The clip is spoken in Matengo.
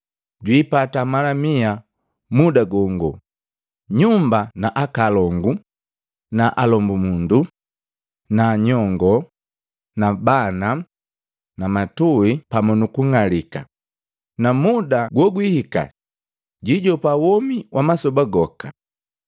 jwiipata mala mia muda gongo, nyumba na akaalongu naalombumundu na nyongoo na bana na matui pamu nukung'alika, na muda gogwihika jijopa womi wa masoba goka.